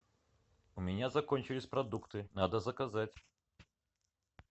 у меня закончились продукты надо заказать